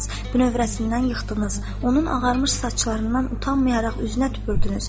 Bünövrəsindən yıxdınız, onun ağarmış saçlarından utanmayaraq üzünə tüpürdünüz.